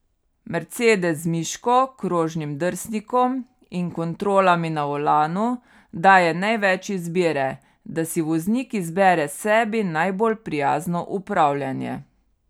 Mercedes z miško, krožnim drsnikom in kontrolami na volanu daje največ izbire, da si voznik izbere sebi najbolj prijazno upravljanje.